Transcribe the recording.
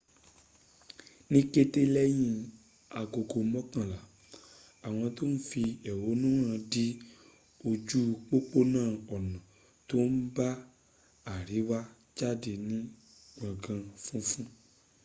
ní kété lẹ́yìn agogo mọ́kànlá àwọn tó ń fi èhónú hàn dí ojú pópónà ọ̀nà tóbá àríwá jádé ní gbòngàn funfun